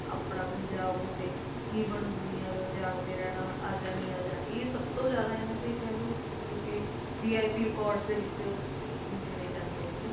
ਆਪਣਾ ਪੰਜਾਬ ਹੋਵੇ, ਕੀ ਬਣੂ ਦੁਨੀਆਂ ਦਾ, ਜਾਗਦੇ ਰਹਿਣਾ, ਆਜਾ ਨੀ ਆਜਾ ਇਹ ਸਭ ਤੋਂ ਜ਼ਿਆਦਾ ਇਹਨਾਂ ਦੇ ਕਹਿ ਲਓ ਜੋ ਕਿ VIP records ਦੇ ਵਿੱਚ ਗਿਣੇ ਜਾਂਦੇ ਨੇ ਗੇ,